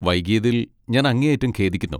വൈകിയതിൽ ഞാൻ അങ്ങേയറ്റം ഖേദിക്കുന്നു.